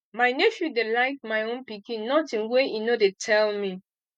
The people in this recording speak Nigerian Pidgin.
my nephew dey like my own pikin notin wey im no dey tell me